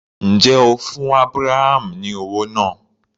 Ǹjẹ́ o fún Abraham ní owó náà?